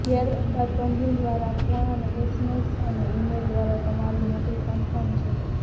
ત્યાર બાદ કંપની દ્વારા ફોન અને એસએમએસ અને ઇમેઇલ દ્વારા તમારી નોકરી કન્ફર્મ છે